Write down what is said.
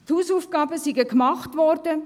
Die Hausaufgaben seien gemacht worden.